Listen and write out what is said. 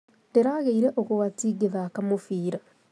Ndĩragĩire ũgwati ngĩthaka mũbira